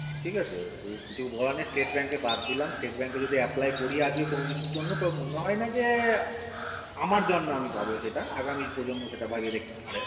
ঠিক আছে ও কিছু বলার নেই state bank এ বাদ দিলাম state bank এ যদি apply করি আজকে কোনো কিছুর জন্য তো মনে হয় না যে আমার জন্মে আমি পাবো আমি সেটা আগামী প্রজন্মে সেটা পেতে পারে